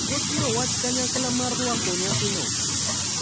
Kosiro wach kanyakla mar rwako nyasino.